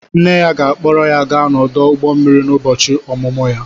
Nne ya ga-akpọrọ ya gaa ọdụ ụgbọ mmiri n'ụbọchị ọmụmụ ya